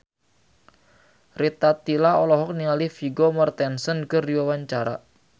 Rita Tila olohok ningali Vigo Mortensen keur diwawancara